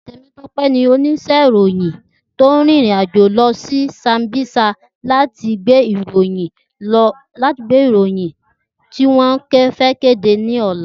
Temitope ni óníṣè iróyin tó ririnàjó lòsí sàmbísá làtí gbé iróyin tiwòn fè kédé lòlá